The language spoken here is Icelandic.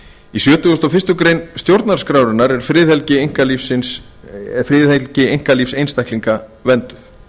í sjötugasta og fyrstu grein stjórnarskrárinnar er friðhelgi einkalífs einstaklinga vernduð